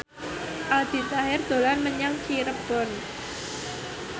Aldi Taher dolan menyang Cirebon